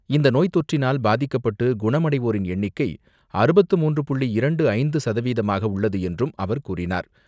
இந்த நோய் தொற்றினால் பாதிக்கப்பட்டு குணமடைவோரின் எண்ணிக்கை அறுபத்து மூன்று புள்ளி இரண்டு ஐந்து சதவீதமாக உள்ளது என்றும் அவர் கூறினார்.